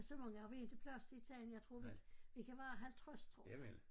Så mange har vi inte plads til i Tejn jeg tror vi vi kan være 50 tror jeg